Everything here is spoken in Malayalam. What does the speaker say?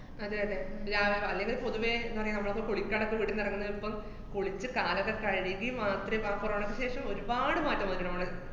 അതെയതെ രാ~ ആഹ് അല്ലേല് പൊതുവെ ന്താ പറയാ, നമ്മളൊക്കെ കുളിക്കാണ്ടൊക്കെ വീട്ടീന്നിറങ്ങുന്നത് ഇപ്പം കുളിച്ച് കാലൊക്കെ കഴുകി മാത്രേ ഇപ്പ ആ corona യ്ക്ക് ശേഷം ഒരുപാട് മാറ്റം വന്നിട്ട്ണ്ട് നമ്മള്